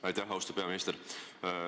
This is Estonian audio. Aitäh, austatud peaminister!